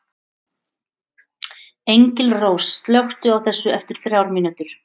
Engilrós, slökktu á þessu eftir þrjár mínútur.